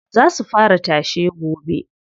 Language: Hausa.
Za su fara tashe gobe.